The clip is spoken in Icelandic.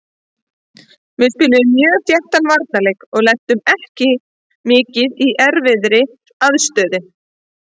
Við spiluðum mjög þéttan varnarleik og lentum ekki mikið í erfiðri aðstöðu.